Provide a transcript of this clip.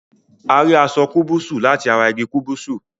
A rí aṣọ kubusu lati ará igi kúbúsú